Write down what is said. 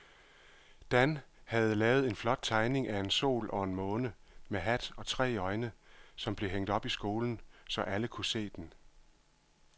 Dan havde lavet en flot tegning af en sol og en måne med hat og tre øjne, som blev hængt op i skolen, så alle kunne se den.